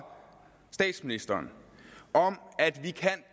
statsministeren om at vi